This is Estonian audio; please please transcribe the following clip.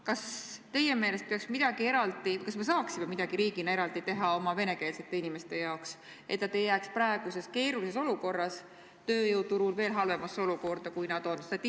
Kas me teie meelest saaksime midagi riigina eraldi teha oma venekeelsete inimeste jaoks, et nad ei jääks praeguses keerulises olukorras tööjõuturul veel halvemasse olukorda, kui nad on?